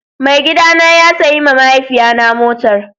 Mai gida na ya sayi ma mahaifiya na motar